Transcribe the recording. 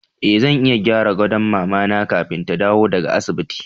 E, zan iya gyara gadon mama na kafin ta dawo daga asibiti.